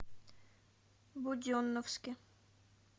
буденновске